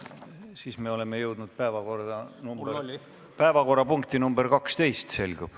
Siis me oleme jõudnud 12. päevakorrapunkti juurde, nagu selgub.